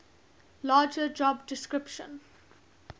larger job description